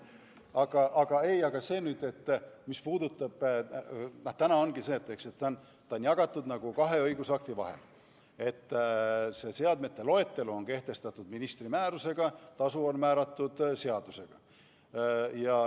Aga praegu on nii, et ta on jagatud nagu kahe õigusakti vahel: seadmete loetelu on kehtestatud ministri määrusega, tasu on määratud seadusega.